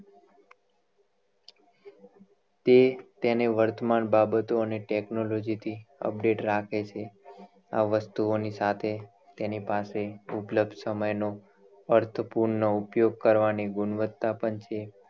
તે તેને વર્તમાન બાબતો અને technology થી update રાખે છે આ વસ્તુઓની સાથે તેની પાસે ફુંકલક સમય નો અર્થપૂર્ણ ઉપયોગ કરવાની ગુણવતા પણ છે